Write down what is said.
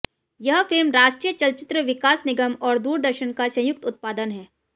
यह फिल्म राष्ट्रीय चलचित्र विकास निगम और दूरदर्शन का संयुक्त उत्पादन है